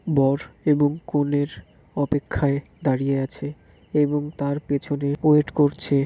বর এবং কনের অপেক্ষায় দাঁড়িয়ে আছে এবং তার পেছনে অয়েট করছে --